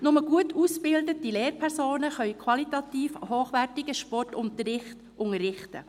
Nur gut ausgebildete Lehrpersonen können qualitativ hochwertigen Sportunterricht unterrichten.